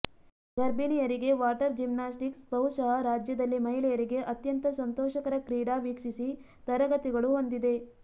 ಗರ್ಭಿಣಿಯರಿಗೆ water gymnastics ಬಹುಶಃ ರಾಜ್ಯದಲ್ಲಿ ಮಹಿಳೆಯರಿಗೆ ಅತ್ಯಂತ ಸಂತೋಷಕರ ಕ್ರೀಡಾ ವೀಕ್ಷಿಸಿ ತರಗತಿಗಳು ಹೊಂದಿದೆ